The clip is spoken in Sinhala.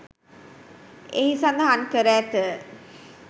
එහි සඳහන් කර ඇත.